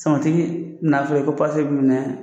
Sɔmɔtigi na f'u yen ko b'u ɲɛ